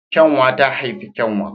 Kyanwa ta haifi kyanwa